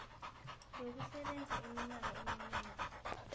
yokusebenza iminyaka eminengi